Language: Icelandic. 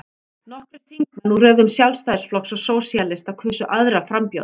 Nokkrir þingmenn úr röðum Sjálfstæðisflokks og Sósíalista kusu aðra frambjóðendur.